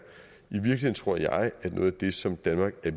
i virkeligheden tror jeg at noget af det som danmark er